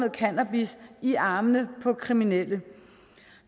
af cannabis i armene på kriminelle